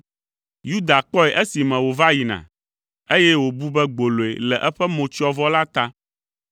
Yuda kpɔe esime wòva yina, eye wòbu be gboloe le eƒe motsyɔvɔ la ta.